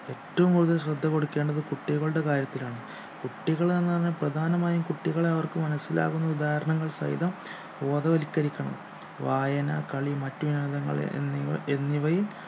ഏറ്റവും കൂടുതൽ ശ്രദ്ധ കൊടുക്കേണ്ടത് കുട്ടികളുടെ കാര്യത്തിലാണ് കുട്ടികൾ എന്നാണ് പ്രധാനമായും കുട്ടികളെ അവർക്ക് മനസ്സിലാവുന്ന ഉദാഹരണങ്ങൾ സഹിതം ബോധവൽക്കരിക്കണം വായന കളി മറ്റിനങ്ങൾ എന്നിവ എന്നിവയിൽ